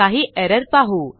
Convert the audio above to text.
काही एरर पाहू